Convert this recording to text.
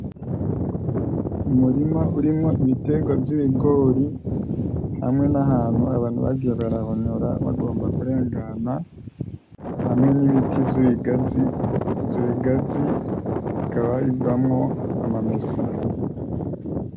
Umurima urimwo ibiterwa vy'ibigori hamwe n'ahantu abantu bagiye barahonyora bagomba kurengana, hamwe n'ibiti vy'ibigazi. Ivyo bigazi bikaba bivamwo amamesa.